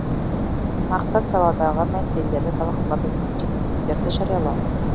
мақсат саладағы мәселелерді талқылап жетістіктерді жариялау